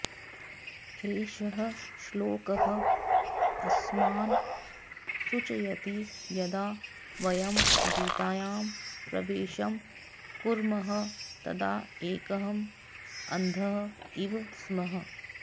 एषः श्लोकः अस्मान् सूचयति यदा वयं गीतायां प्रवेशं कुर्मः तदा एकः अन्धः इव स्मः